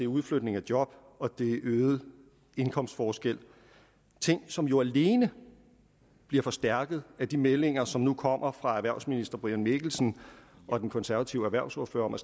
udflytning af job og øget indkomstforskel ting som jo alene bliver forstærket af de meldinger som nu kommer fra erhvervsministeren og den konservative erhvervsordfører om at